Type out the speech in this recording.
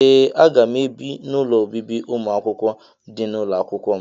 Ee aga m ebi n'ụlọ obibi umuakwukwo dị na ụlọakwụkwọ m.